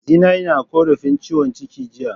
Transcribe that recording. Zinai na korafin ciwon ciki jiya.